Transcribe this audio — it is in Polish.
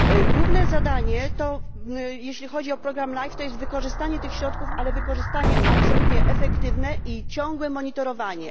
Główne zadanie, jeśli chodzi o program LIFE, to jest wykorzystanie tych środków, ale wykorzystanie absolutnie efektywne i ciągłe monitorowanie.